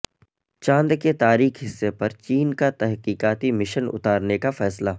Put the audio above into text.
چاند کے تاریک حصے پر چین کا تحقیقاتی مشن اتارنے کا فیصلہ